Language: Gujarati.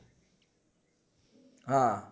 હા